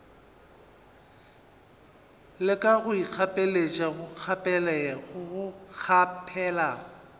leka go ikgapeletša go kgaphela